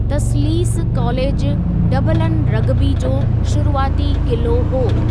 तस्लीस कालेजु Dublin rugby जो शुरूआती क़िलो हो|